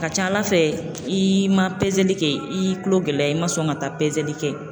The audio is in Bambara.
Ka ca Ala fɛ i ma pezeli kɛ, i y'i kulo gɛlɛya i ma sɔn ka taa pezeli kɛ.